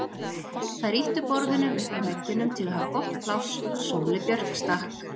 Þær ýttu borðunum upp að veggjunum til að hafa gott pláss, Sóley Björk stakk